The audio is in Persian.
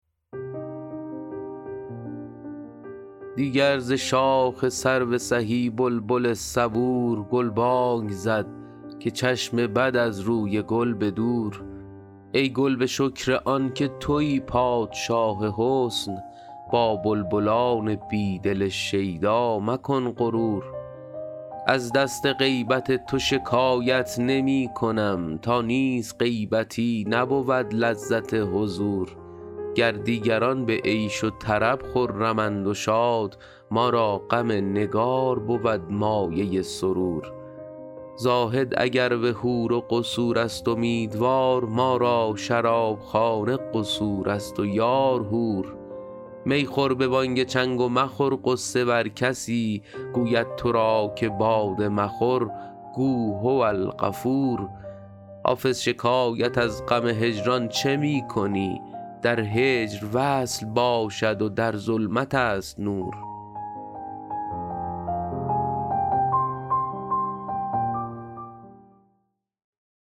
دیگر ز شاخ سرو سهی بلبل صبور گلبانگ زد که چشم بد از روی گل به دور ای گل به شکر آن که تویی پادشاه حسن با بلبلان بی دل شیدا مکن غرور از دست غیبت تو شکایت نمی کنم تا نیست غیبتی نبود لذت حضور گر دیگران به عیش و طرب خرمند و شاد ما را غم نگار بود مایه سرور زاهد اگر به حور و قصور است امیدوار ما را شرابخانه قصور است و یار حور می خور به بانگ چنگ و مخور غصه ور کسی گوید تو را که باده مخور گو هوالغفور حافظ شکایت از غم هجران چه می کنی در هجر وصل باشد و در ظلمت است نور